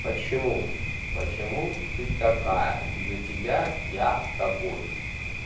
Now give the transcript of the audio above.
почему почему ты такая из-за тебя я такой